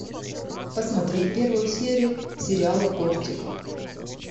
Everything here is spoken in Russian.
посмотреть первую серию сериала кортик